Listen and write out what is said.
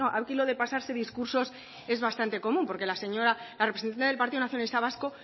la no aquí lo de pasarse discursos es bastante común porque la señora la representante del partido nacionalista vasco